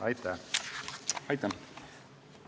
Aitäh!